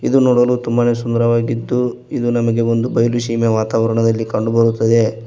ಇದು ನೋಡಲು ತುಂಬಾನೇ ಸುಂದರವಾಗಿದ್ದು ಇದು ನಮಗೆ ಒಂದು ಬಯಲು ಸೀಮೆ ವಾತಾವರಣದಲ್ಲಿ ಕಂಡುಬರುತ್ತದೆ.